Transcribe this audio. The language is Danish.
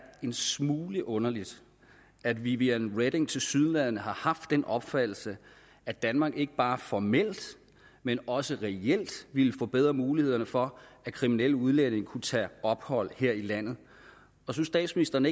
en smule underligt at viviane reding tilsyneladende har haft den opfattelse at danmark ikke bare formelt men også reelt ville forbedre mulighederne for at kriminelle udlændinge kunne tage ophold her i landet og synes statsministeren